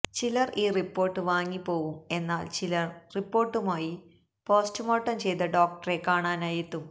ചിലര് ഈ റിപ്പോര്ട്ട് വാങ്ങി പോവും എന്നാല് ചിലര് റിപ്പോര്ട്ടുമായി പോസ്റ്റുമാര്ട്ടം ചെയ്ത ഡോക്ടറെ കാണാനായെത്തും